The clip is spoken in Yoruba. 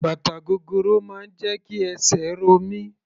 Bàtà gogoro máa ń jẹ́ kí esè ro mí.